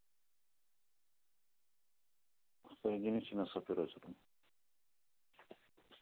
соедините нас с оператором